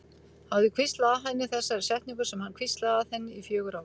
Hafði hvíslað að henni þessari setningu sem hann hvíslaði að henni í fjögur ár.